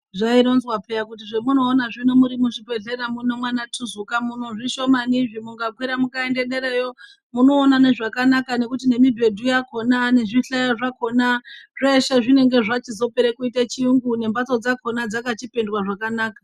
Zvaironzwa piya kuti zvamunoona zvino muri muzvibhedhlera muno mana tuzuka muno zvishomani pane zve mukakwira kuenda dera iyo monoona zvakanaka ngekuti nemibhedhu ngezvihlayo zvakona zveshe zvinenge zvapera kuita chirungu ngembatso dzakona dzakachipendwa zvakanaka.